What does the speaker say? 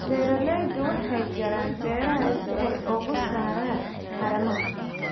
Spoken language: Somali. Beeraleydu waxay jaraan beeraha si ay uga saaraan haramaha.